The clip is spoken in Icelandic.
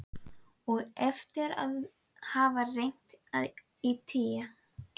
Og eftir að hafa reynt í tí